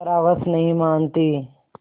पर हवस नहीं मानती